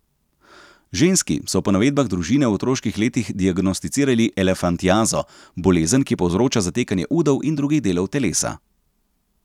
Ženski so po navedbah družine v otroških letih diagnosticirali elefantiazo, bolezen, ki povzroča zatekanje udov in drugih delov telesa.